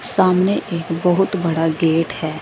सामने एक बहोत बड़ा गेट है।